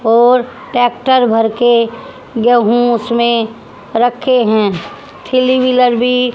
और ट्रैक्टर भर के गेहूं उसमें रखे हैं थीली व्हीलर भी--